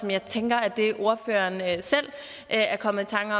jeg tænker at det er ordføreren selv der er kommet i tanke